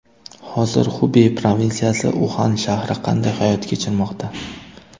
Hozir Xubey provinsiyasi, Uxan shahri qanday hayot kechirmoqda?